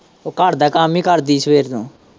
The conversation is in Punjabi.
ਉਹ ਘਰ ਦਾ ਕੰਮ ਹੀ ਕਰਦੀ ਸਵੇਰੇ ਨੂੰ।